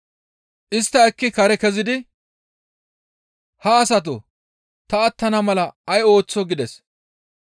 Istta ekki kare kezidi, «Ha asatoo! Ta attana mala ay ooththoo?» gides.